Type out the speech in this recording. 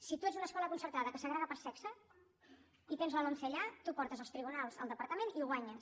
si tu ets una escola concertada que segrega per sexe i tens la lomce allà tu portes als tribunals el departa·ment i ho guanyes